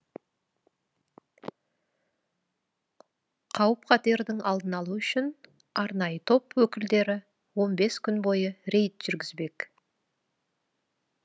қауіп қатердің алдын алу үшін арнайы топ өкілдері он бес күн бойы рейд жүргізбек